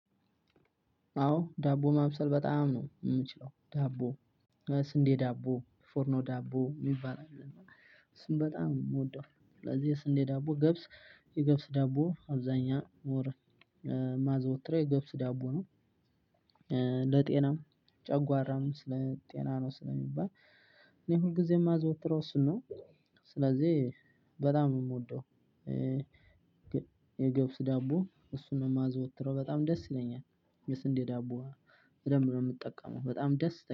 አዎ ዳቦ ማብሰል በጣም ነው ምችለው ዳቦ ስንዴ ዳቦ ፎርኖ ዳቦ የሚባል አለ። እሱን በጣም የምወደው ስለዚህ የስንዴ ዳቦ ገብስ የገብስ ዳቦ አብዛኛ ወር ማዘወትረው የገብስ ዳቦ ነው። ለጤናም ጨጓራም ስለ ጤና ነው ስለሚባል እኔ ሁልጊዜም ማዘወትው እሱን ነው። ስለዚህ በጣም የምወደው። የገብስ ዳቦ እሱን ነው የማዘወትረው በጣም ደስ ይለኛል። የስንዴ ዳቦ በድንብ ነው የምጠቀመው በጣም ደስ